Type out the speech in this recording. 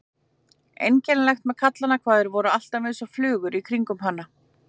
Einkennilegt með kallana hvað þeir voru alltaf einsog flugur í kringum hana.